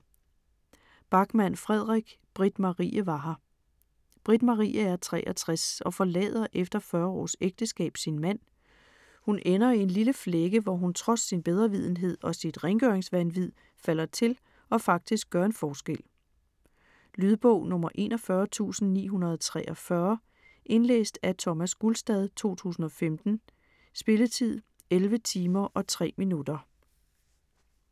Backman, Fredrik: Britt-Marie var her Britt-Marie er 63 og forlader efter 40 års ægteskab sin mand. Hun ender i en lille flække, hvor hun trods sin bedrevidenhed og sit rengøringsvanvid falder til og faktisk gør en forskel. Lydbog 41943 Indlæst af Thomas Gulstad, 2015. Spilletid: 11 timer, 3 minutter.